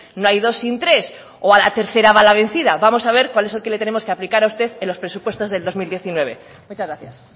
no hay dos sin tres o a la tercera va la vencida vamos a ver cuál es el que le tenemos que aplicar a usted en los presupuestos del dos mil diecinueve muchas gracias